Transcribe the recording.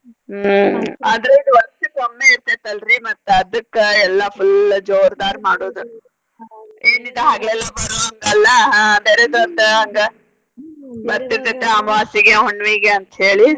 ಹ್ಮ ಆದ್ರ ಇದ ವರ್ಷಕೊಮ್ಮೆ ಇರ್ತೆತಿ ಅಲ್ರಿ ಮತ್ತ ಅದಕ್ಕ ಎಲ್ಲ full ಜೋರದಾರ ಮಾಡೋದ ಎನಿದ ಹಗೆಲೆಲ್ಲಾ ಬರೋದ ಹಂಗ ಅಲ್ಲಾ ಆಹ್ ಹಂಗ. ಮತ್ತ ಇದಕ್ಕ ಅಮವಾಸಿಗೆ ಹುಣ್ಣಿವಿಗೆ ಅಂತ ಹೇಳಿ.